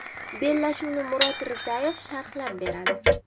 Bellashuvni Murod Rizayev sharhlab boradi.